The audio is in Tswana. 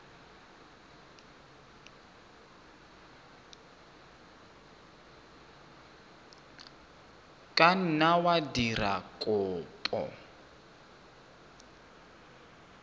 ka nna wa dira kopo